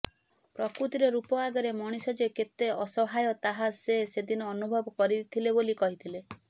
ପ୍ରକୃତିର ରୂପ ଆଗରେ ମଣିଷ ଯେ କେତେ ଅସହାୟ ତାହା ସେ ସେଦିନ ଅନୁଭବ କରିଥିଲେ ବୋଲି କହିଥିଲେ